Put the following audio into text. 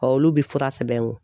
olu bɛ fura sɛbɛn n kun